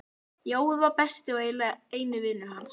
Jói var besti og eiginlega eini vinur hans.